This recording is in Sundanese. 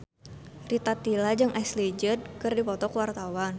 Rita Tila jeung Ashley Judd keur dipoto ku wartawan